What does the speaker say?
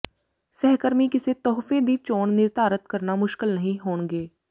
ਸਹਿਕਰਮੀ ਕਿਸੇ ਤੋਹਫ਼ੇ ਦੀ ਚੋਣ ਨਿਰਧਾਰਤ ਕਰਨਾ ਮੁਸ਼ਕਲ ਨਹੀਂ ਹੋਣਗੇ